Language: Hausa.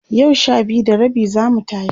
yau Sha biyu da rabi zamu tashi